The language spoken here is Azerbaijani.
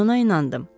Mən ona inandım.